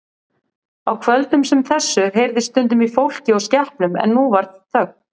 Á kvöldum sem þessu heyrðist stundum í fólki og skepnum en nú var þögn.